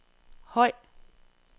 høj